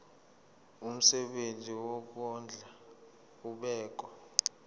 umsebenzi wokondla ubekwa